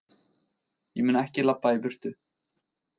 Ég mun ekki labba í burtu.